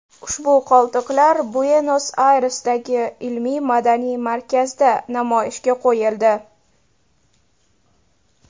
Ushbu qoldiqlar Buenos-Ayresdagi ilmiy-madaniy markazda namoyishga qo‘yildi.